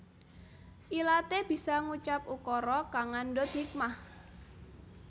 Ilate bisangucap ukara kang ngandut hikmah